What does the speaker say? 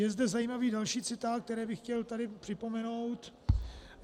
Je zde zajímavý další citát, který bych chtěl tady připomenout.